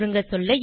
சுருங்கசொல்ல